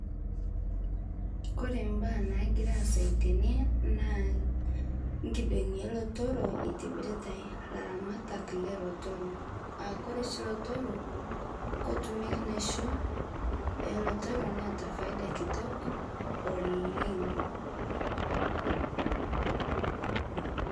Kore imbaa naagira aasayu tene naa nkidong'i oolotorrok itibirita ilaramatak loolotorrok aa kore oshi ilotorrok ketumieki enaisho oolotorrok neeta faida kitok oleng'.